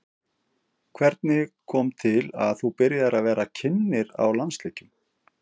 Hvernig kom til að þú byrjaðir að vera kynnir á landsleikjum?